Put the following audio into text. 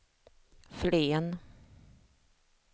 Flen